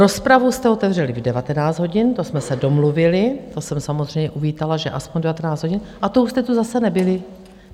Rozpravu jste otevřeli v 19 hodin, to jsme se domluvili, to jsem samozřejmě uvítala, že aspoň v 19 hodin, a to už jste tu zase nebyli.